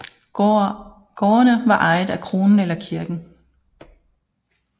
Gårdene var ejet af kronen eller kirken